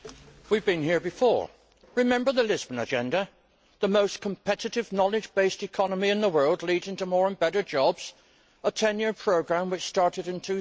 Mr President, we have been here before. Remember the Lisbon Agenda the most competitive knowledge based economy in the world leading to more and better jobs, a 10 year programme which started in